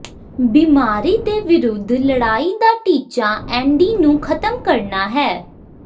ਬਿਮਾਰੀ ਦੇ ਵਿਰੁੱਧ ਲੜਾਈ ਦਾ ਟੀਚਾ ਐਂਡੀ ਨੂੰ ਖਤਮ ਕਰਨਾ ਹੈ